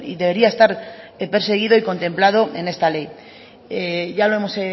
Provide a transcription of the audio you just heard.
debería estar perseguido y contemplado en esta ley ya lo hemos